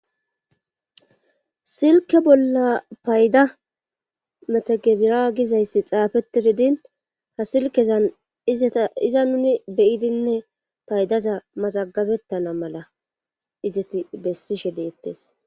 silke bolla payda metagebira gizayssi xaafeti didin ha silkezan izeta iza nuni beyidinne paydaza mazagabettana mala izeti bessishe deettes